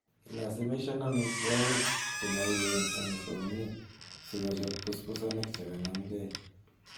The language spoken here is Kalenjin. Ilasimisan amitwogik chemoo uen en kongiik sikochob busbusanik chekanamkee.